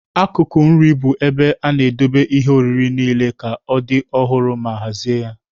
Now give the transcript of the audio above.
Akụkụ nri bụ ebe a na-edobe ihe oriri niile ka ọ dị ọhụrụ ma hazie ya.